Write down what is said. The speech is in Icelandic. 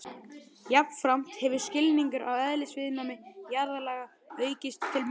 Jafnframt hefur skilningur á eðlisviðnámi jarðlaga aukist til muna.